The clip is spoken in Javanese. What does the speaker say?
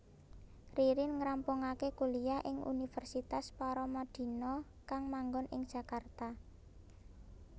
Ririn ngrampungaké kuliyah ing Universitas Paramadina kang manggon ing Jakarta